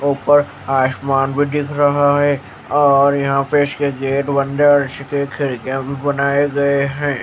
ऊपर आसमान भी दिख रहा है और यहां पे इसके गेट बंद और इसके खिड़कियां भी बनाए गए हैं।